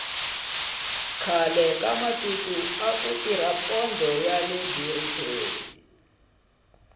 khale ka matiko aku tirha pondho yale biriteni